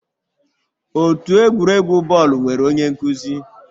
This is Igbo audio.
Otu egwuregwu bọọlụ nwere onye nkuzi